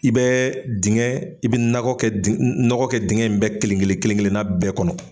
I bɛ dingɛ i bɛ nɔgɔ kɛ dingɛ in bɛɛ kelen-kelen kelen-kelenna bɛɛ kɔnɔ!